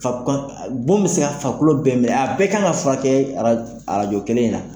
Bon bɛ se ka fakolo bɛɛ minɛ a bɛɛ kan ka furakɛ arajo kelen in na